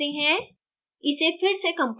इसे compile करते हैं